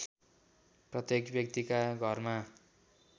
प्रत्येक व्यक्तिका घरमा